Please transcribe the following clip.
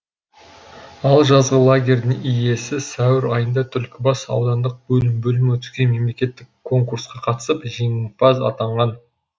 ал жазғы лагерьдің иесі сәуір айында түлкібас аудандық білім бөлімі өткізген мемлекеттік конкурсқа қатысып жеңімпаз атанған